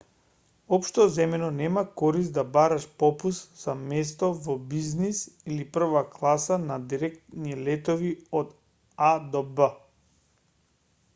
општо земено нема корист да бараш попуст за место во бизнис или прва класа на директни летови од а до б